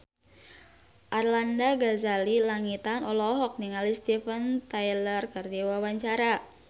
Arlanda Ghazali Langitan olohok ningali Steven Tyler keur diwawancara